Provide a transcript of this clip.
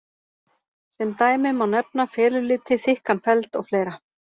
Sem dæmi má nefna feluliti, þykkan feld og fleira.